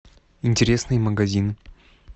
интересный магазин